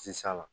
Sisan